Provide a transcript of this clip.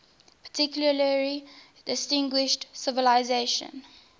particularly distinguished civilization